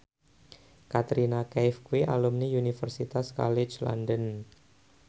Katrina Kaif kuwi alumni Universitas College London